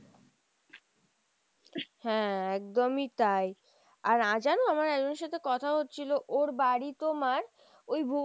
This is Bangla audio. হ্যাঁ একদমই তাই, আর আজ জানো আমার একজনের সাথে কথা হচ্ছিলো ওর বাড়ি তোমার ওই